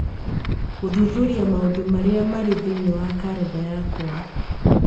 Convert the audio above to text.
Gũthuthuria maũndũ marĩa marĩ thĩinĩ wa kalendarĩ yakwa